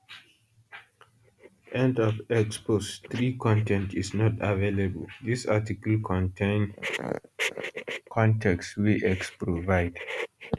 end of x post 3 con ten t is not available dis article contain con ten t wey x provide